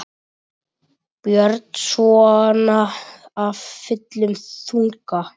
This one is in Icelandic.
Björn: Svona af fullum þunga?